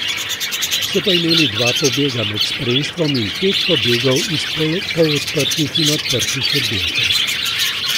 So pa imeli dva pobega med spremstvom in pet pobegov iz polodprtih in odprtih oddelkov.